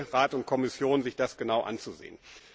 Ich bitte Rat und Kommission, sich das genau anzusehen.